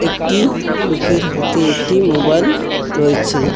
লোকের হাতে একটি মোবাইল রয়েছে।